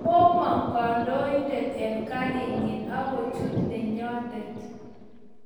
Komong kandoindet eng kariny akochut nenyondet